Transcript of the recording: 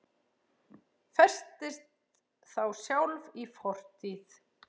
Festist þá sjálf í fortíð.